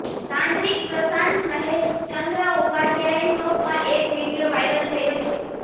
તાંત્રીક પ્રશાંત મહેશચંદ્ર ઉપાધ્યાયનો પણ એક વિડિયો વાયરલ થયો છે